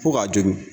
Fo k'a jogin